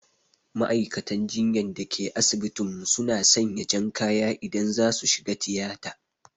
Ma'aikatan jinyan da ke asibitin mu su na sanya jan kaya idan za su shiga tiyata